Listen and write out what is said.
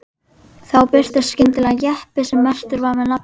Þá birtist skyndilega jeppi sem merktur var með nafninu